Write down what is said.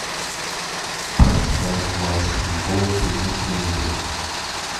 поставь матч футбол три на телевизоре